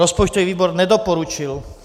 Rozpočtový výbor nedoporučil.